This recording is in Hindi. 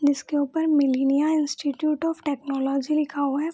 जिसके ऊपर मिलिनिआ इंस्टिट्यूट ऑफ़ टेक्नोलॉजी लिखा हुआ है।